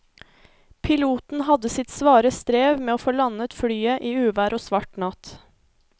Piloten hadde sitt svare strev med å få landet flyet i uvær og svart natt.